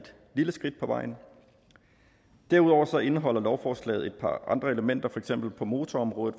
lille skridt på vejen derudover indeholder lovforslaget et par andre elementer på motorområdet